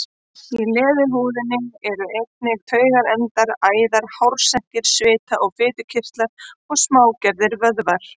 Í leðurhúðinni eru einnig taugaendar, æðar, hársekkir, svita- og fitukirtlar og smágerðir vöðvar.